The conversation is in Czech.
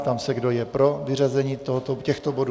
Ptám se, kdo je pro vyřazení těchto bodů.